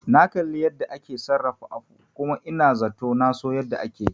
Na kalli yanda ake sarrafa afu kuma ina zato naso yanda ake yi